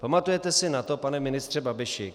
Pamatujete si na to, pane ministře Babiši?